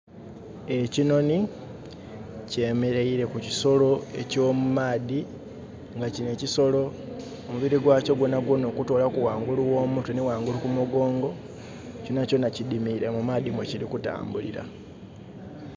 Ekinoni kyemereire ku kisolo eky' mumaadhi nga kino ekisolo mubiri gwakyo gwonagwona okutolaku wangulu wo mumutwe ni wangulu kumugongo kyonakyona kidimire mu maadhi wekiri kutambulira